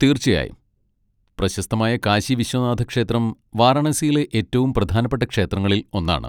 തീർച്ചയായും. പ്രശസ്തമായ കാശി വിശ്വനാഥ ക്ഷേത്രം വാരണാസിയിലെ ഏറ്റവും പ്രധാനപ്പെട്ട ക്ഷേത്രങ്ങളിൽ ഒന്നാണ്.